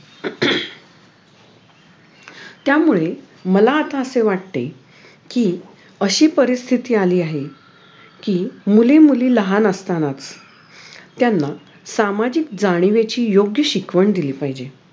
त्यामुळे मला आता असे वाटते कि अशी परिस्थिती अली आहे कि मुली मुली लहान असतानाच त्यांना सामाजिक जाणिवेची योग्य शिकवण दिली पाहिजे